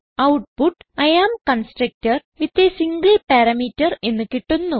output I am constructor with a single parameter എന്ന് കിട്ടുന്നു